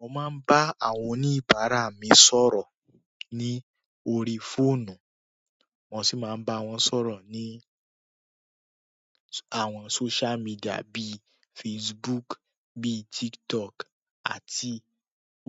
Mo má ń bá àwọn oníbàárà mí sọ̀rọ̀ ní orí fóònù, wọ́n sì máa ń bá wọn sọ̀rọ̀ ní àwọn social media bíi Facebook, bíi TikTok àti